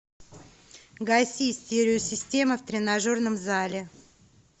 гаси стереосистема в тренажерном зале